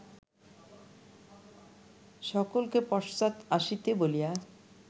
সকলকে পশ্চাৎ আসিতে বলিয়া